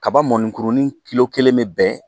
Kaba mɔnikurunin kelen bɛ bɛn